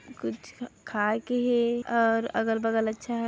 कुछ खाय के हे और अगल बगल अच्छा है।